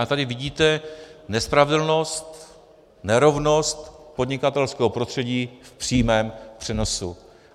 A tady vidíte nespravedlnost, nerovnost podnikatelského prostředí v přímém přenosu.